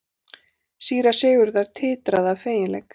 Síra Sigurður titraði af feginleik.